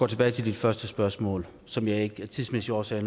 tilbage til dit første spørgsmål som jeg af tidsmæssige årsager